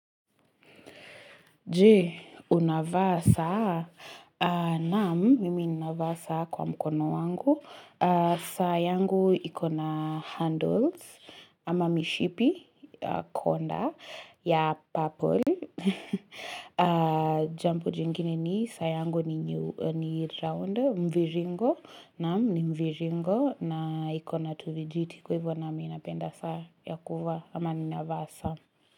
Jee, unavaa saa naam mimi navaa saa kwa mkono wangu. Saa yangu ikona handles ama mishipi konda ya purple. Jambo jingine ni saa yangu ni round, mviringo, naam, ni mviringo na ikona tuvijiti kwa hivyo na mimi napenda saa ya kuvaa ama ninavaa saa.